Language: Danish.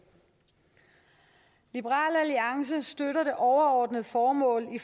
liberal alliance støtter det overordnede formål i